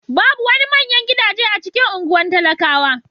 Babu wani manyan gidaje a cikin anguwan talakawa.